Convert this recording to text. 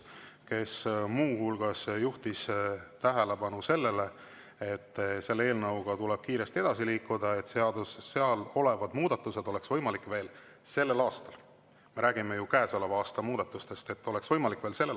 Ta muu hulgas juhtis tähelepanu sellele, et selle eelnõuga tuleb kiiresti edasi liikuda, et seal olevad muudatused oleks võimalik veel sellel aastal – me räägime ju käesoleva aasta muudatustest – täide viia.